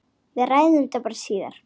Við ræðum þetta bara síðar.